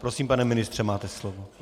Prosím, pane ministře, máte slovo.